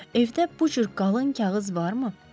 Evdə bu cür qalın kağız varmı?